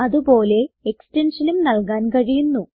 അത് പോലെ എക്സ്റ്റൻഷനും നൽകാൻ കഴിയുന്നു